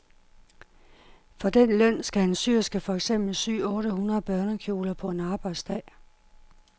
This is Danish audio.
For den løn skal en syerske for eksempel sy otte hundrede børnekjoler på en arbejdsdag.